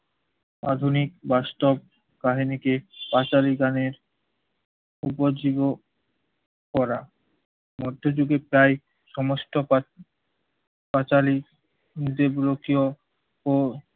আধুনিক bus stop কাহিনীকে পাঁচালী গানের উপজীব করা। মধ্যযুগে প্রায় সমস্ত কাচ~ পাঁচালী দেব্রকিয় ও